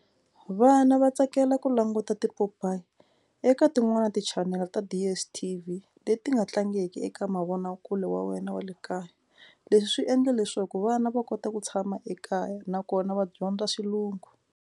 Vana va tsakela ku languta tipopayi eka tin'wani tichanele ta DSTV leti nga tlangiki eka mavonakule wa wena wa le kaya. Leswi swi endla leswaku vana va kota ku tshama ekaya nakona va dyondza xilungu.